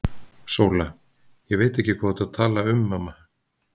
SÓLA: Ég veit ekki hvað þú ert að tala um, mamma.